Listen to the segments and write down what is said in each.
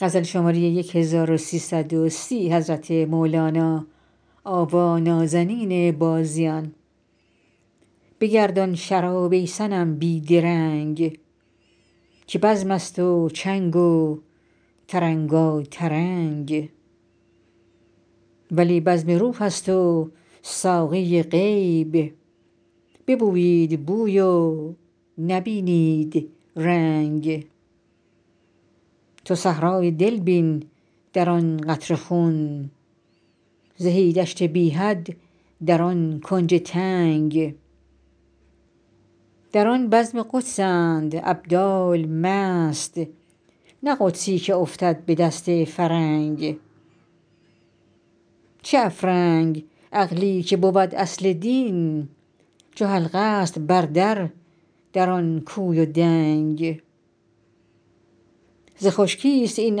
بگردان شراب ای صنم بی درنگ که بزمست و چنگ و ترنگاترنگ ولی بزم روحست و ساقی غیب ببویید بوی و نبینید رنگ تو صحرای دل بین در آن قطره خون زهی دشت بی حد در آن کنج تنگ در آن بزم قدسند ابدال مست نه قدسی که افتد به دست فرنگ چه افرنگ عقلی که بود اصل دین چو حلقه ست بر در در آن کوی و دنگ ز خشکیست این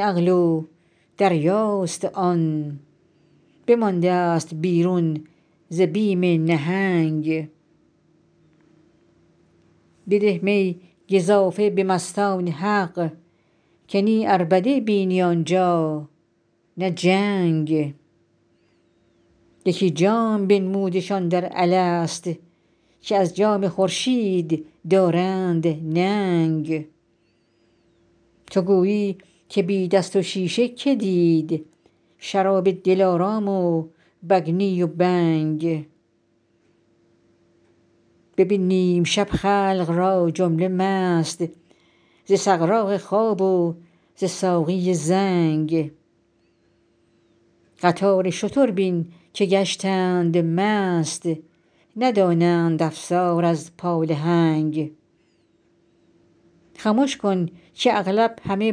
عقل و دریاست آن بمانده است بیرون ز بیم نهنگ بده می گزافه به مستان حق که نی عربده بینی آن جا نه جنگ یکی جام بنمودشان در الست که از جام خورشید دارند ننگ تو گویی که بی دست و شیشه که دید شراب دلارام و بگنی و بنگ ببین نیم شب خلق را جمله مست ز سغراق خواب و ز ساقی زنگ قطار شتر بین که گشتند مست ندانند افسار از پالهنگ خمش کن که اغلب همه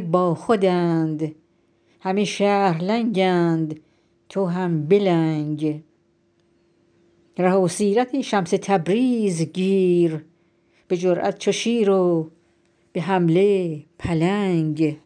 باخودند همه شهر لنگند تو هم بلنگ ره سیرت شمس تبریز گیر به جرات چو شیر و به حمله پلنگ